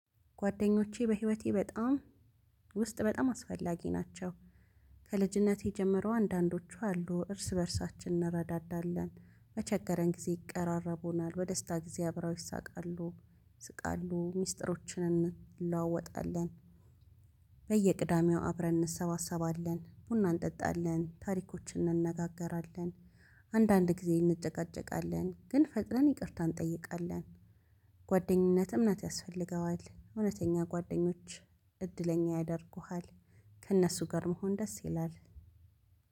ጓደኞቼ በህይወቴ በጣም ውስጥ በጣም አስፈላጊ ናቸው። ከልጅነቴ ጀምረው አንዳንዶቹ አሉ እርስ በርሳችን እንረዳዳለን በቸገረን ጊዜ ይቀራረቡናል በደስታ ጊዜ አብረው ይሳቃሉ ይስቃሉ ሚስጥሮችን እንለዋወጣለን። በየቅዳሜው አብረን እንሰባሰባለን ቡና እንጠጣለን ታሪኮችን እንነጋገራለን። አንዳንድ ጊዜ እንጨቃጨቃለን ግን ፈጥነን ይቅርታ እንጠይቃለን። ጓደኝነት እምነት ያስፈልገዋል እውነተኛ ጓደኞች እድለኛ ያደርጉሃል። ከእነሱ ጋር መሆን ደስ ይላል።